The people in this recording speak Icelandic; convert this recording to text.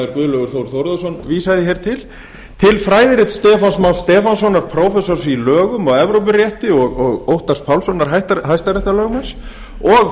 guðlaugur þór þórðarson vísaði hér til til fræðirit stefáns más stefánssonar prófessors í lögum og evrópurétti og óttars pálssonar hæstaréttarlögmanns og